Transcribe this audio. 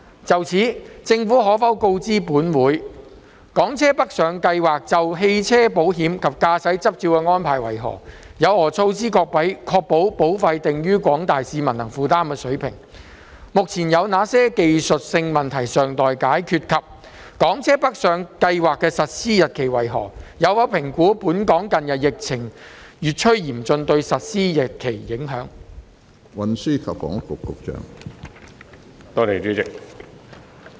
就此，政府可否告知本會：一港車北上計劃就汽車保險及駕駛執照的安排為何；有何措施確保保費定於廣大市民能負擔的水平；二目前有哪些技術性問題尚待解決；及三港車北上計劃的實施日期為何；有否評估本港近日疫情越趨嚴峻對實施日期的影響？